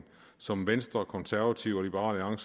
som venstre konservative og liberal